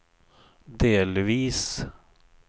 delvis